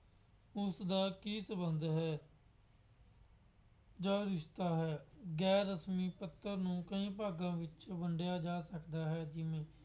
ਉਸਦਾ ਕੀ ਸੰਬੰਧ ਹੈ। ਜੋ ਲਿਖਦਾ ਹੈ। ਗੈਰ ਰਸਮੀ ਨੂੰ ਕਈ ਭਾਗਾਂ ਵਿੱਚ ਵੰਡਿਆ ਜਾ ਸਕਦਾ ਹੈ। ਜਿਵੇਂ